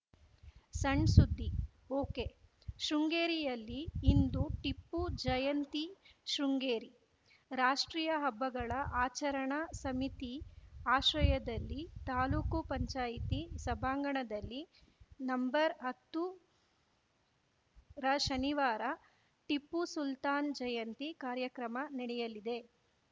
ಸಣ್‌ ಸುದ್ದಿ ಒಕೆಶೃಂಗೇರಿಯಲ್ಲಿ ಇಂದು ಟಿಪ್ಪು ಜಯಂತಿ ಶೃಂಗೇರಿ ರಾಷ್ಟ್ರೀಯ ಹಬ್ಬಗಳ ಆಚರಣಾ ಸಮಿತಿ ಆಶ್ರಯದಲ್ಲಿ ತಾಲೂಕು ಪಂಚಾಯಿತಿ ಸಭಾಂಗಣದಲ್ಲಿ ನಂಬರ್ ಹತ್ತು ರ ಶನಿವಾರ ಟಿಪ್ಪುಸುಲ್ತಾನ್‌ ಜಯಂತಿ ಕಾರ್ಯಕ್ರಮ ನಡೆಯಲಿದೆ